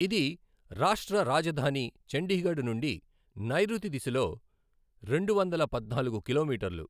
ఇది రాష్ట్ర రాజధాని చండీగఢ్ నుండి నైఋతి దిశలో రెండువందల పద్నాలుగు కిలోమీటర్లు.